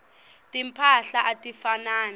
timphahla atifanani